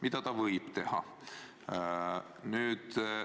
Ja see võib juhtuda.